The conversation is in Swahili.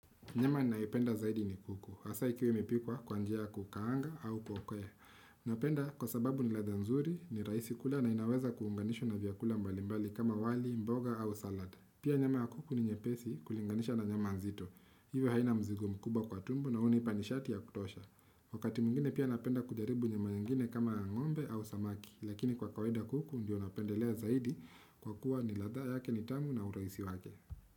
Nyama ninayoipenda zaidi ni kuku, hasa ikiwa imepikwa kwa njia ya kukaanga au kwa ku Napenda kwa sababu ni ladha nzuri, ni rahisi kula na inaweza kuunganishwa na vyakula mbalimbali kama wali, mboga au salad. Pia nyama ya kuku ni nyepesi kulinganisha na nyama nzito. Hivyo haina mzigo mkubwa kwa tumbo, na hunipa nishati ya kutosha. Wakati mwingine pia napenda kujaribu nyama nyingine kama ya ngombe au samaki. Lakini kwa kawaida kuku ndiyo napendelea zaidi kwa kuwa ni ladha yake ni tamu na urahisi wake.